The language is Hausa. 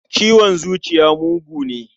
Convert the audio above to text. Ciwon zuciya mugu ne.